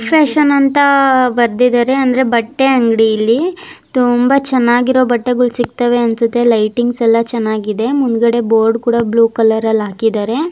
Big fashion ಅಂತ ಬರ್ದಿದ್ದಾರೆ ಅಂದ್ರೆ ಬಟ್ಟೆ ಅಂಗಡಿ ಇಲ್ಲಿ ತುಂಬಾ ಚೆನ್ನಾಗಿರುವ ಬಟ್ಟೆಗಳು ಸಿಗ್ತವೆ ಅನ್ಸುತ್ತೆ ಲೈಟಿಂಗ್ಸ್ ಎಲ್ಲ ಚೆನ್ನಾಗಿದೆ ಮುಂದ್ಗಡೆ ಬೋರ್ಡ್ ಕೂಡ ಬ್ಲೂ ಕಲರ್ ಲ್ ಹಾಕಿದ್ದಾರೆ.